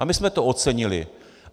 A my jsme to ocenili.